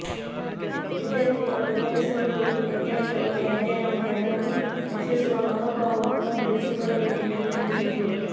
ವಿದ್ಯಾರ್ಥಿಗಳು ಪರಿಸರ ಕುರಿತು ವೈಜ್ಞಾನಿಕವಾಗಿ ಅಧ್ಯಯನ ಮಾಡಿ ಅದನ್ನು ರಕ್ಷಿಸುವ ಮನೋಭಾವವನ್ನು ಬೆಳೆಸಿಕೊಳ್ಳಬೇಕು ಎಂದು ತಿಳಿಸಿದರು